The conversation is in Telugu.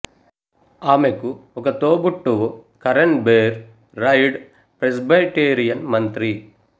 ఆమెకు ఒక తోబుట్టువు కరెన్ బేర్ రైడ్ ప్రెస్బైటేరియన్ మంత్రి